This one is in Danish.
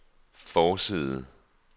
forside